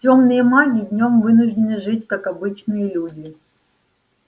тёмные маги днём вынуждены жить как обычные люди